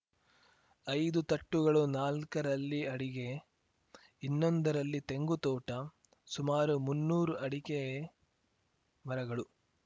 ಐದು ತಟ್ಟುಗಳು ನಾಲ್ಕರಲ್ಲಿ ಅಡಿಗೆ ಇನ್ನೊಂದರಲ್ಲಿ ತೆಂಗು ತೋಟ ಸುಮಾರು ಮುನ್ನೂರು ಅಡಿಕೆ ಮರಗಳು